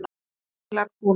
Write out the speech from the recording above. Það heimilar konungur.